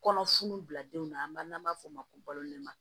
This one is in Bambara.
Kɔnɔ funun bila denw na n'an b'a f'o ma ko balo ma